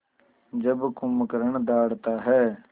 जब कुंभकर्ण दहाड़ता है